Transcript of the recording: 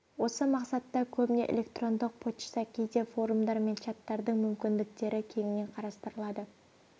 осы мақсатта көбіне электрондық пошта кейде форумдар мен чаттардың мүмкіндіктері кеңінен қарастырылады